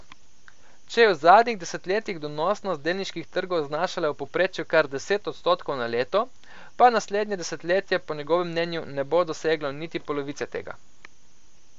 Če je v zadnjih desetletjih donosnost delniških trgov znašala v povprečju kar deset odstotkov na leto, pa naslednje desetletje po njegovem mnenju ne bo doseglo niti polovice tega.